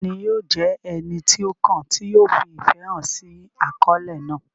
Ta ni yóò jẹ́ ẹni tí ó kàn tí yóò fi ìfẹ́ hàn sí àkọlé náà?